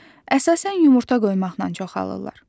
Əsasən yumurta qoymaqla çoxalırlar.